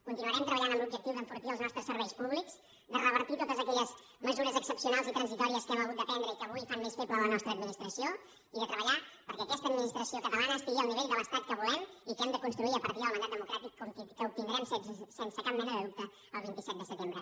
conti·nuarem treballant amb l’objectiu d’enfortir els nostres serveis públics de revertir totes aquelles mesures ex·cepcionals i transitòries que hem hagut de prendre i que avui fan més feble la nostra administració i de treballar perquè aquesta administració catalana esti·gui al nivell de l’estat que volem i que hem de cons·truir a partir del mandat democràtic que obtindrem sense cap mena de dubte el vint set de setembre